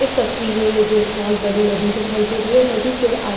इस तस्वीर में मुझे एक बोहोत बड़ी नदी दिखाई दे रही है। नदी के आ --